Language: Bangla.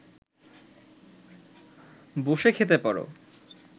বসে খেতে পারে